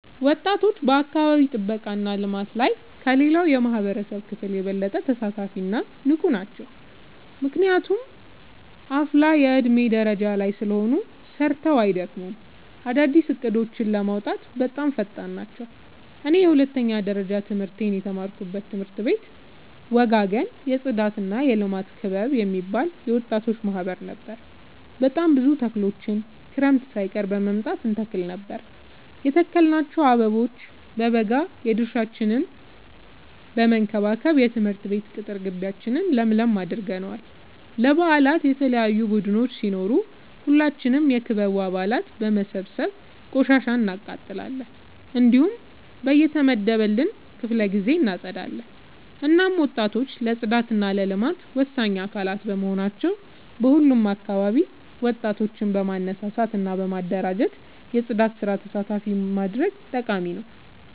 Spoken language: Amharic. ወጣቶች በአካባቢ ጥብቃ እና ልማት ላይ ከሌላው የማህበረሰብ ክፍል የበለጠ ተሳታፊ እና ንቁ ናቸው። ምክንያቱም አፋላ የዕድሜ ደረጃ ላይ ስለሆኑ ሰርተው አይደክሙም፤ አዳዲስ እቅዶችን ለማውጣትም በጣም ፈጣን ናቸው። እኔ የሁለተኛ ደረጃ ትምህርቴን የተማርኩበት ትምህርት ቤት ወጋገን የፅዳትና የልማት ክበብ የሚባል የወጣቶች ማህበር ነበር። በጣም ብዙ ተክሎችን ክረምት ሳይቀር በመምጣ እንተክል ነበር የተከልናቸው አበቦ በበጋ የድርሻችን በመከባከብ የትምህርት ቤት ቅጥር ጊቢያችን ለምለም አድርገነዋል። ለበአላት የተለያዩ ቡዳዮች ሲኖሩ ሁላችንም የክበቡ አባላት በመሰብሰብ ቆሻሻ እናቃጥላለን። እንዲሁም በየተመደበልን ክፍለ ጊዜ እናፀዳለን። እናም ወጣቶች ለፅዳት እና ለልማት ወሳኝ አካላት በመሆናቸው በሁሉም አካባቢ ወጣቶችን በማነሳሳት እና በማደራጀት የፅዳት ስራ ተሳታፊ ማድረግ ጠቃሚ ነው።